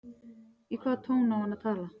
Í hvaða tón á hann að tala?